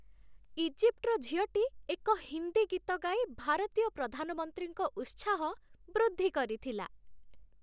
ଇଜିପ୍ଟର ଝିଅଟି ଏକ ହିନ୍ଦୀ ଗୀତ ଗାଇ ଭାରତୀୟ ପ୍ରଧାନମନ୍ତ୍ରୀଙ୍କ ଉତ୍ସାହ ବୃଦ୍ଧି କରିଥିଲା।